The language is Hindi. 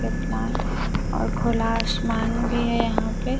और खुला आसमान भी है यहां पे--